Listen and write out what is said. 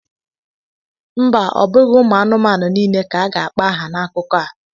Mba! Ọ bụghị ụmụ anụmanụ niile ka a ga-akpọ aha n'akụkọ a.